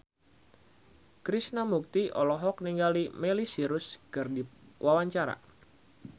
Krishna Mukti olohok ningali Miley Cyrus keur diwawancara